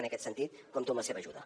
i en aquest sentit compto amb la seva ajuda